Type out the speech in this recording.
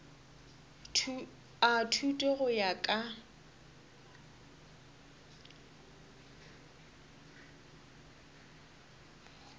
a thuto go ya ka